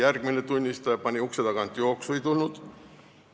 Järgmine tunnistaja pani ukse tagant jooksu, ei tulnud.